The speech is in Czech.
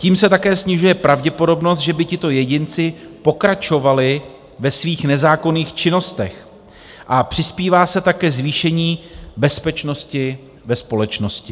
Tím se také snižuje pravděpodobnost, že by tito jedinci pokračovali ve svých nezákonných činnostech, a přispívá se tak ke zvýšení bezpečnosti ve společnosti.